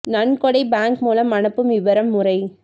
நன்கொடை பேங்க் மூலம் அனுப்பும் விவரம் முறை